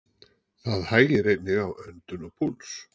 Það hægir einnig á öndun og púls.